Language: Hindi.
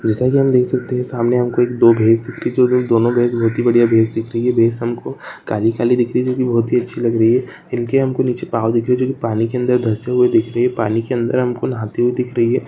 जैसा कि हम देख सकते है सामने मे दो भैंस दिख रही है बहुत ही बढ़िया भैंस दिख रही है भैंस हमको काली काली दिख रही है जो कि बहुत ही अच्छी लग रही है इनके हमको निचे पाँव दिख रहे है जो की पाने के अंदर धसे दिख रहे है पानी के अंदर हमको नहाती हुई दिख रही है।